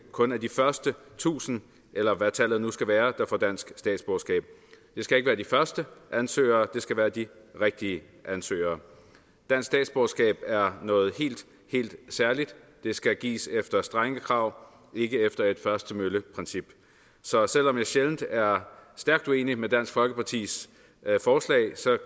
kun er de første tusind eller hvad tallet nu skal være der får dansk statsborgerskab det skal ikke være de første ansøgere det skal være de rigtige ansøgere dansk statsborgerskab er noget helt helt særligt og det skal gives efter strenge krav og ikke efter et først til mølle princip så selv om jeg sjældent er stærkt uenig med dansk folkepartis forslag